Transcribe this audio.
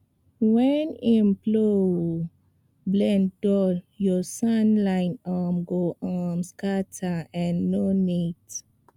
when um plow blade dull your soil lines um go um scatter and no neat